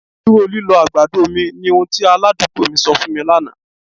Dúró lílọ̀ agbàdọ̀ mi, ni ọhun ti aládùgbò̀ mi sọ̀ fún mi lánà.